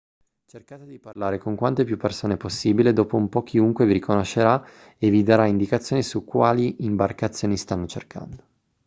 cercate di parlare con quante più persone possibile dopo un po' chiunque vi conoscerà e vi darà indicazioni su quali imbarcazioni stanno cercando